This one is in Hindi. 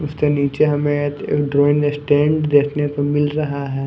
उसके नीचे हमें एक ड्रॉइंग स्टैंड देखने को मिल रहा है।